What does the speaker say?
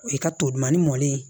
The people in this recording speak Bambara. O ye ka tolumani mɔlen